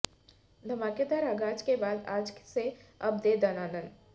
धमाकेदार आगाज के बाद आज से अब दे दनादन